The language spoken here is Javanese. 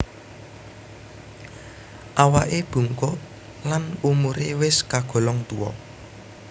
Awaké bungkuk lan umuré wis kagolong tuwa